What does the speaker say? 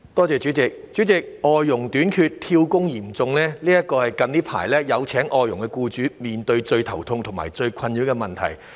主席，外傭短缺、"跳工"嚴重，這是有聘請外傭的僱主近來面對最頭痛和最困擾的問題。